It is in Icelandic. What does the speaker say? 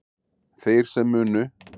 Þeir sem munu